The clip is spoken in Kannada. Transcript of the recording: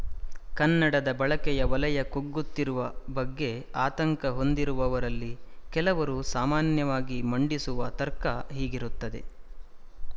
ಕನ್ನಡದ ಬಳಕೆಯ ವಲಯ ಕುಗ್ಗುತ್ತಿರುವ ಬಗ್ಗೆ ಆತಂಕ ಹೊಂದಿರುವವರಲ್ಲಿ ಕೆಲವರು ಸಾಮಾನ್ಯವಾಗಿ ಮಂಡಿಸುವ ತರ್ಕ ಹೀಗಿರುತ್ತದೆ